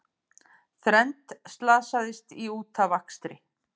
Þrennt slasaðist í útafakstri